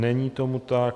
Není tomu tak.